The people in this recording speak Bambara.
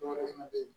Dɔwɛrɛ fɛnɛ be yen